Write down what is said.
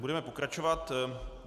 Budeme pokračovat.